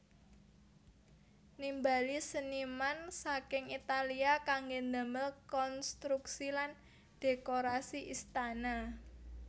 Nimbali seniman saking Italia kanggé damel konstruksi lan dhékorasi istana